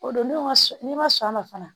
O don n'o ma sɔn n'i ma sɔn a ma fana